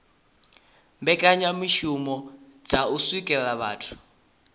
mbekanyamishumo dza u swikelela vhathu